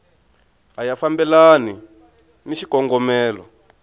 a ya fambelani ni xikongomelo